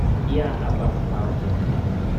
я обосрался